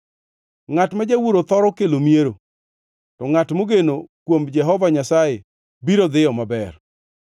Ngʼat ma jawuoro thoro kelo miero, to ngʼat mogeno kuom Jehova Nyasaye biro dhiyo maber.